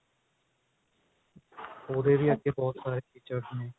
ਉਹਦੇ ਵੀ ਬਹੁਤ ਸਾਰੇ features ਨੇ